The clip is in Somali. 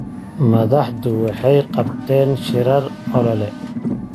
Madaxdu waxay qabteen shirar olole.